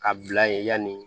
Ka bila yen yanni